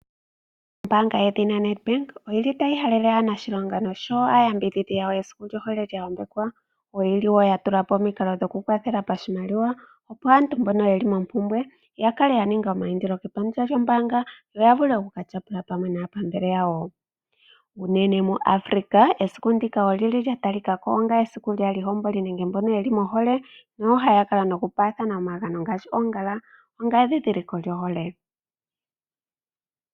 Ombaanga yoNedbank otayi halele aaniilonga noshowo aayakulwa yawo esiku lyohole lya yambekwa. Oya tulapo omikalo dhokukwathela pashimaliwa, opo aantu mbono yeli mompubwe ya kale ya ninga omayindilo shaashi ombaanga yo yavule okukatyapula pamwe naapambele yawo. Unene muAfrica esiku ndika olya talikako lyaayihomboli nenge mboka mohole nohaya paathana omagano ngaashi oongala onga endhindhiliko lyohole.